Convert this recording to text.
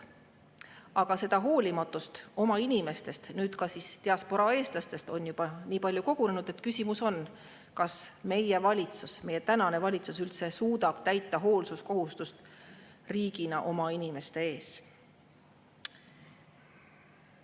Aga seda hoolimatust oma inimeste vastu ja nüüd siis ka diasporaa eestlaste vastu on juba nii palju kogunenud, et küsimus on, kas meie tänane valitsus üldse suudab täita riigi hoolsuskohustust oma inimeste vastu.